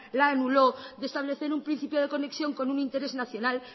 la anuló de establecer un principio de conexión con un interés nacional